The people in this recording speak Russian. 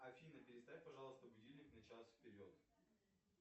афина переставь пожалуйста будильник на час вперед